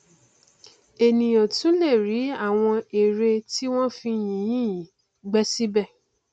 ènìà tún lè rí àwọn ère tí wọn fi yìnyín yìí gbẹ síbẹ